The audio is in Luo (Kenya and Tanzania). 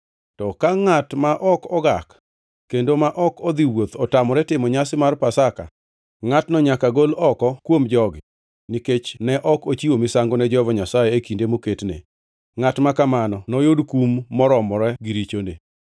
To ka ngʼat ma ok ogak kendo ma ok odhi wuoth otamore timo nyasi mar Pasaka, ngʼatno nyaka gol oko kuom jogi nikech ne ok ochiwo misango ne Jehova Nyasaye e kinde moketne. Ngʼat ma kamano noyud kum moromore gi richone.